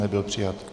Nebyl přijat.